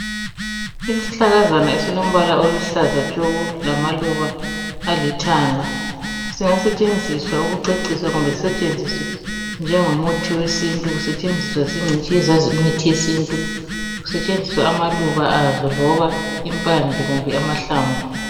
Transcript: Isihlahlakazana esilombala oluhlaza tshoko lamaluba alithanga singasetshenziswa ukucecisa kumbe sisetshenziswe njengomuthi wesintu. Usetshenziswa zingcitshi ezazi imithi yesintu. Kusetshenziswa amaluba azo loba impande kumbe amahlamvu.